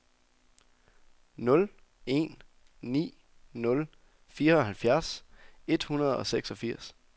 nul en ni nul fireoghalvfjerds et hundrede og seksogfirs